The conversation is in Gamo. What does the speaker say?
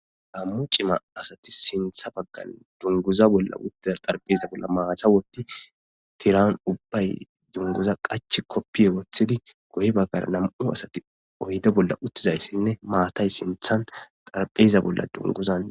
Gammo cima asati sintha baggan dunguza bolla uttida xarpheza bolla maata wotti tiran ubbay dunguza qachi koppiye woththidi goye baggar nam'u asati oyde bolla uttizaysinne maatay sinthan xarpheza bolla dunguzan bolla woththidi